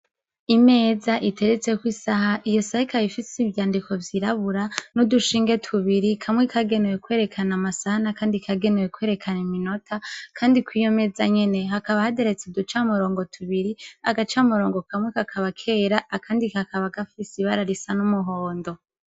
Imeza iteretseko isaha, iyo saha ikaba ifise ivyandiko vyirabura n'udushinge tubiri, kamwe kagenewe kwerekana amasaha n'akandi kagenewe kwerekana iminota, kandi kw'iyo meza nyene hakaba hateretse uducamurongo tubiri, agacamurongo kamwe kakaba kera akandi kakaba gafise ibara risa n'umuhondo.